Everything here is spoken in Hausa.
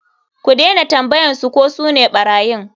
Ku dena tambayan su ko sune ɓarayin.